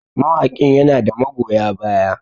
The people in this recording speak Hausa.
mawaƙin yana da magoya baya